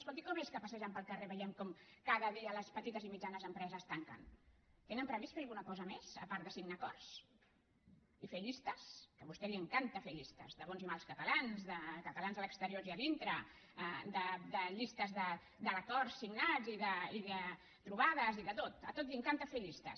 escolti com és que passejant pel carrer veiem com cada dia les petites i mitjanes empreses tanquen tenen previst fer alguna cosa més a part de signar acords i fer llistes que a vostè li encanta fer llistes de bons i mals catalans de catalans a l’exterior i a dintre llistes d’acords signats i de trobades i de tot de tot li encanta fer llistes